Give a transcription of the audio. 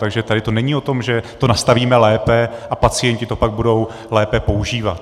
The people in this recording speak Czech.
Takže tady to není o tom, že to nastavíme lépe a pacienti to pak budou lépe používat.